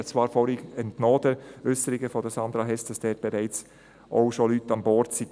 » Ich habe zwar vorhin den Äusserungen von Sandra Hess entnommen, dass dort bereits schon Leute an Bord waren.